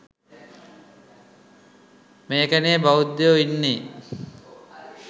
මේකෙනෙ බෞද්ධයො ඉන්නෙ